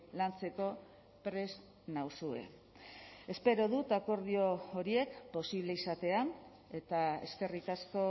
lantzeko prest nauzue espero dut akordio horiek posible izatea eta eskerrik asko